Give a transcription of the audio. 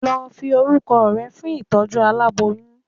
lo Fi oruko le fún itojú àláboyún.